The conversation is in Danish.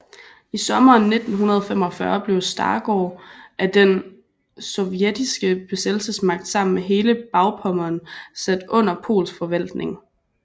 I sommeren 1945 blev Stargard af den sovjetiske besættelsesmagt sammen med hele Bagpommern sat under polsk forvaltning